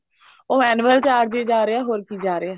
ਉਹ annual charges ਜਾ ਰਿਹਾ ਹੋਰ ਕੀ ਜਾ ਰਿਹਾ